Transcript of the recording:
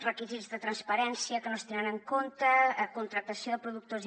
requisits de transparència que no es tenen en compte contractació de productors i